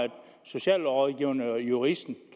socialrådgiverne og juristerne